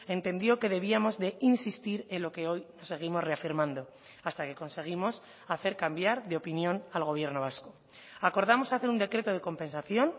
entendió que debíamos de insistir en lo que hoy seguimos reafirmando hasta que conseguimos hacer cambiar de opinión al gobierno vasco acordamos hacer un decreto de compensación